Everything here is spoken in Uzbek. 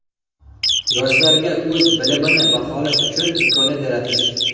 yoshlarga o‘z bilimini baholash uchun imkoniyat yaratish.